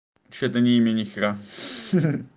вообще это не имя нехера